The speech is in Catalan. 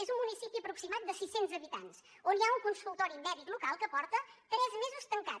és un municipi aproximat de sis cents habitants on hi ha un consultori mèdic local que porta tres mesos tancat